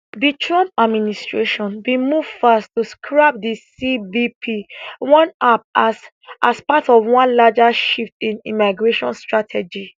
di trump administration bin move fast to scrap di cbp one app as as part of one larger shift in immigration strategy